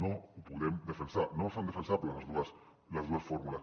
no ho podem defensar no són defensables les dues fórmules